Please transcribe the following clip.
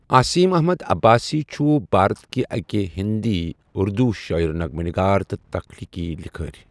اَسیٖم اَحمَد عَباسؠ چھُ بارَت كہٕ اَكھ ہِندؠ اُردوٗ شٲعِر، نَغَمہ نَگار، تہٕ تخلیقی لِکھٲرؠ